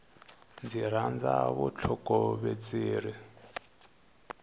ndzi rhandza vutlhokovetseri